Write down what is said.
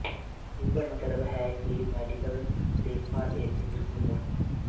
ਇਸ ਦਾ ਮਤਲਬ ਹੈ ਕਿ ਮੈਡੀਕਲ ਦੇਖਭਾਲ ਇੱਥੇ ਬਿਲਕੁਲ ਮੁਫ਼ਤ ਹੈ